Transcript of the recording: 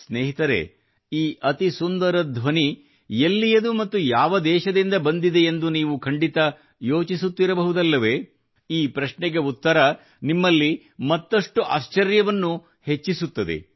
ಸ್ನೇಹಿತರೇ ಈ ಅತಿ ಸುಂದರ ಧ್ವನಿ ಎಲ್ಲಿಯದು ಮತ್ತು ಯಾವ ದೇಶದಿಂದ ಬಂದಿದೆಯೆಂದು ನೀವು ಖಂಡಿತಾ ಯೋಚಿಸುತ್ತಿರ ಬಹುದುಲ್ಲವೇ ಈ ಪ್ರಶ್ನೆಗೆ ಉತ್ತರ ನಿಮ್ಮಲ್ಲಿ ಮತ್ತಷ್ಟು ಆಶ್ಚರ್ಯವನ್ನು ಹೆಚ್ಚಿಸುತ್ತದೆ